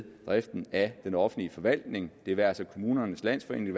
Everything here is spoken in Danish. driften af den offentlige forvaltning det være sig kommunernes landsforening